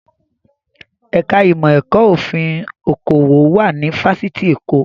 Ẹ̀ka ìmọ̀ ẹ̀kọ́ òfin okòwò wà ní Fáṣítì Èkó